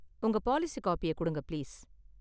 உங்க பாலிசி காப்பிய குடுங்க, பிளீஸ்.